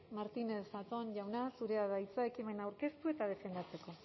martínez zatón jauna zurea da hitza ekimena aurkeztu eta defendatzeko